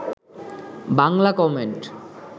Bangla comment